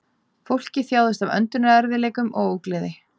Fólkið þjáðist af öndunarerfiðleikum og ógleði